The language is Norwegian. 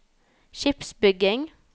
skipsbygging